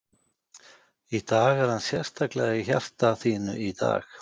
Í dag, er hann sérstaklega í hjarta þínu í dag?